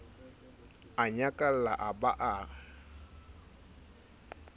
a nyakalla a ba a